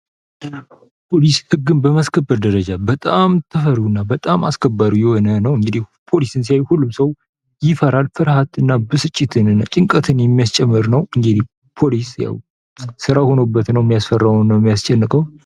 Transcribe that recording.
ፖሊስ ህግን በማስከበር ደረጃ በጣም ተፈሪውና በጣም አስከባሪ የሆነ ነው ::እንግዲህ ፖሊሲ ሲያይ ሁሉም ሰው ይፈራል :: ፍራትና፣ ብስጭትን ጭንቀትን የሚያስጨምር ነው ::እንደኔ ፖሊስ ያው ስራ ሆኖበት ነው የሚያስፈራውና የሚያስጨንቀው ::